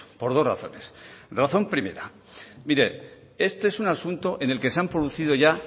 por dos razones la razón primera mire este es un asunto en el que se han producido ya